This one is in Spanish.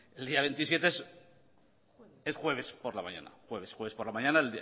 el día veintisiete es jueves por la mañana jueves por la mañana